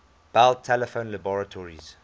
bell telephone laboratories